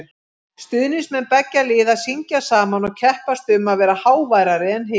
Stuðningsmenn beggja liða syngja saman og keppast um að vera háværari en hinn.